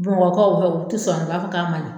Bamakɔkaw fɛ u ti sɔn, u b'a fɛ ka maɲi